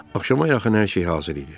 Axşama yaxın hər şey hazır idi.